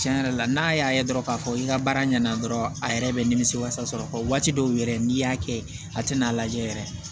Tiɲɛ yɛrɛ la n'a y'a ye dɔrɔn k'a fɔ i ka baara ɲɛna dɔrɔn a yɛrɛ bɛ nimisi wasa sɔrɔ waati dɔw yɛrɛ n'i y'a kɛ a tɛna lajɛ yɛrɛ